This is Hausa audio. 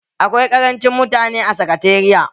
Akwai karancin mutane a sakatariya.